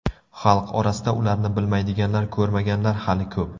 Xalq orasida ularni bilmaydiganlar, ko‘rmaganlar hali ko‘p.